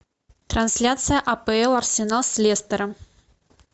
трансляция апл арсенал с лестером